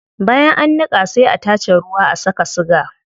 Bayan an niqa sai a tace ruwa a saka siga